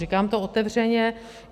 Říkám to otevřeně.